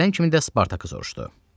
Gələn kimi də Spartakı soruşdu.